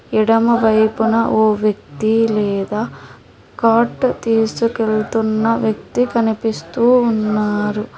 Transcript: ఎడమవైపున ఓ వ్యక్తి లేదా కార్ట్ తీసుకెళ్తున్న వ్యక్తి కనిపిస్తూ ఉన్నారు.